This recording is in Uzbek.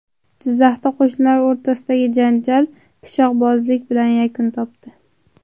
Jizzaxda qo‘shnilar o‘rtasidagi janjal pichoqbozlik bilan yakun topdi.